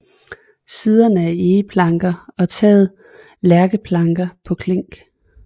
Siderne er egeplanker og taget er lærkeplanker på klink